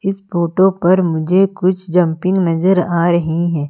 इस फोटो पर मुझे कुछ जंपिंग नजर आ रही हैं।